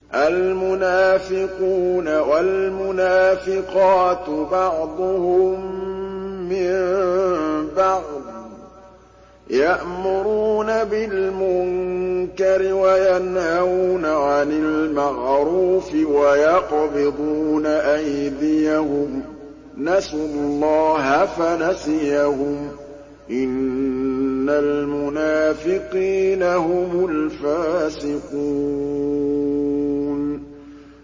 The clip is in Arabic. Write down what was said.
الْمُنَافِقُونَ وَالْمُنَافِقَاتُ بَعْضُهُم مِّن بَعْضٍ ۚ يَأْمُرُونَ بِالْمُنكَرِ وَيَنْهَوْنَ عَنِ الْمَعْرُوفِ وَيَقْبِضُونَ أَيْدِيَهُمْ ۚ نَسُوا اللَّهَ فَنَسِيَهُمْ ۗ إِنَّ الْمُنَافِقِينَ هُمُ الْفَاسِقُونَ